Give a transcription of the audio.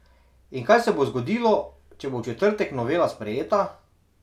In kaj se bo zgodilo, če bo v četrtek novela sprejeta?